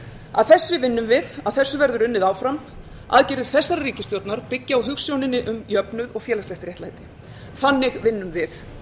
að þessu vinnum við að þessu verður unnið áfram aðgerðir þessarar ríkisstjórnar byggja á hugsuninni um jöfnuð og félagslegt réttlæti þannig vinnum við